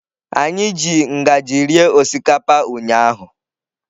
Anyị ji ngaji rie osikapa ụnyahụ.